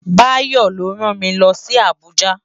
Bayo ló rán mi lòsi Abuja